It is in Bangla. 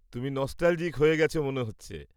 তুমি নস্টালজিক হয়ে গেছো মনে হচ্ছে।